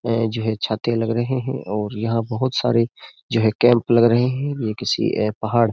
ऐ जो है छाते लग रहे हैं और यहां बहुत सारे जो हैं कैम्प लग रहे हैं। ये किसी ए पहाड़ --